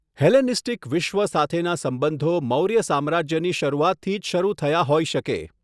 Hellenistic વિશ્વ સાથેના સંબંધો મૌર્ય સામ્રાજ્યની શરૂઆતથી જ શરૂ થયા હોઈ શકે.